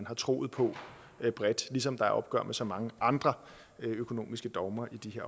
har troet på ligesom der er opgør med så mange andre økonomiske dogmer i de